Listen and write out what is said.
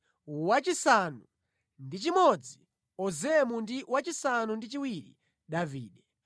wachisanu ndi chimodzi Ozemu ndi wachisanu ndi chiwiri Davide.